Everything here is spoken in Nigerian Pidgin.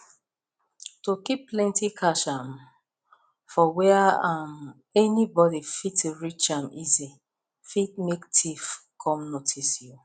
to keep plenty cash um for where um anybody fit reach am easy fit make thief come notice you